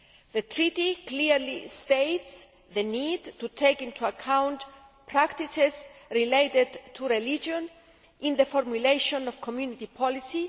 The Treaty clearly states the need to take into account practices related to religion in the formulation of Community policy.